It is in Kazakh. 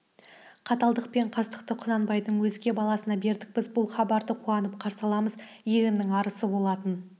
қаталдық пен қастықты құнанбайдың өзге баласына бердік біз бұл хабарды қуанып қарсы аламыз елімнің арысы болатын